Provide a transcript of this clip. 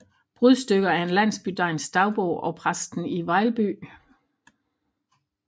Brudstykker af en Landsbydegns Dagbog og Præsten i Vejlbye